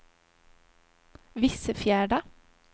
Vissefjärda